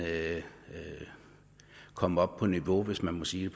komme op på niveau hvis man må sige